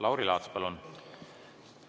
Lauri Laats, palun!